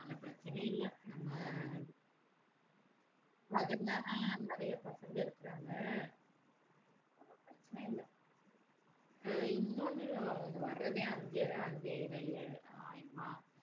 அதனால, பிரச்சனை இல்லை. நம்ம பக்கத்துல அஹ் நிறைய பசங்க இருக்கிறாங்க. ஒரு பிரச்சனை இல்லை. ஆஹ் இன்னொண்ணு அவங்க வர்றதே அஞ்சே கால் அஞ்சரையே ஆயிடுமா?